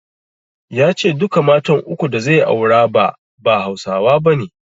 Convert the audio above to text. Ya ce duka matan uku da zai aura ba, ba Hausawa bane.